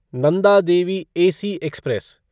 Nanda Devi AC express